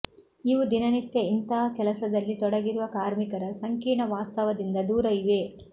ಇವು ದಿನನಿತ್ಯ ಇಂಥ ಕೆಲಸದಲ್ಲಿ ತೊಡಗಿರುವ ಕಾರ್ಮಿಕರ ಸಂಕೀರ್ಣ ವಾಸ್ತವದಿಂದ ದೂರ ಇವೆ